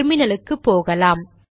டெர்மினலுக்கு போகலாம்